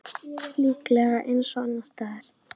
Líklega eins og annars staðar.